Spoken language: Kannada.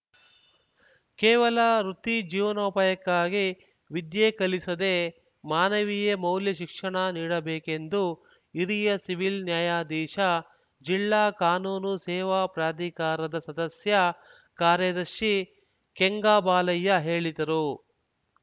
ಕೇವಲ ವೃತ್ತಿ ಜೀವನೋಪಾಯಕ್ಕಾಗಿ ವಿದ್ಯೆ ಕಲಿಸದೇ ಮಾನವೀಯ ಮೌಲ್ಯ ಶಿಕ್ಷಣ ನೀಡಬೇಕೆಂದು ಹಿರಿಯ ಸಿವಿಲ್‌ ನ್ಯಾಯಾಧೀಶ ಜಿಲ್ಲಾ ಕಾನೂನು ಸೇವಾ ಪ್ರಾಧಿಕಾರದ ಸದಸ್ಯ ಕಾರ್ಯದರ್ಶಿ ಕೆಂಗಬಾಲಯ್ಯ ಹೇಳಿದರು